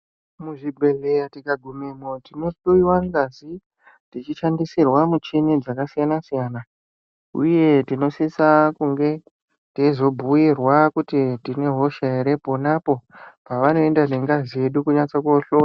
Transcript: Muzvibhedhlera tikagumemo tinohloyiwa ngazi tichishandisirwa michina dzakasiyana siyana uye tinosisa kunge teizobhuirwa kuti tinehosha hre ponapo pavanoenda nengazi yedu kunohloya .